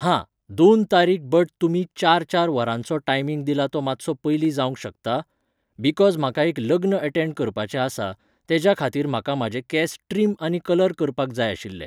हां, दोन तारीक बट तुमी चार चार वरांचो टायमिंग दिला तो मात्सो पयली जावंक शकता? बिकॉज म्हाका एक लग्न अटॅण्ड करपाचें आसा, तेज्या खातीर म्हाका म्हाजे केस ट्रिम आनी कलर करपाक जाय आशिल्ले